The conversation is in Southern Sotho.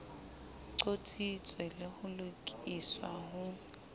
qotsitswe le ho lokiswa ho